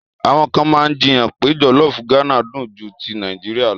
Àwọn kan máa jiyàn pé jọ̀lọ́fù Gánà dùn ju ti Nàìjíríà lọ.